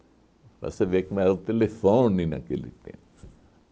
Para você ver como é que era o telefone naquele tempo